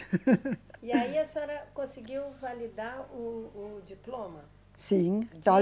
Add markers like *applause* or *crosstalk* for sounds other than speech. *laughs* E aí a senhora conseguiu validar o, o diploma? Sim *unintelligible*